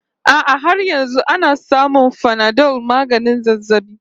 A'a har yanzu ana samun Panadol maganin zazzabi